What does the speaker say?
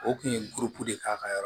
O kun ye de k'a ka yɔrɔ